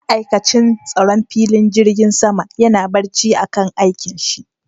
Ma'aikatin tsaron filin jirgin sama yana barci a kan aikin shi